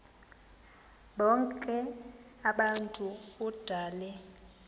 bonk abantu odale